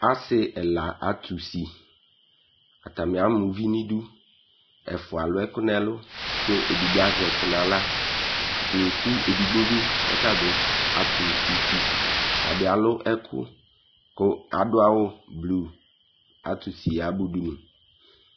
Ase ɛla ato usi, atame ama uvi no idu Ɛfua alu ɛko no ɛlu ko adigbo azɛ ɛko no ala Atane eku edigbo be kɔ ata be ato usi, ata bs alu ɛku ko ado awu blu ato usi yaba udunu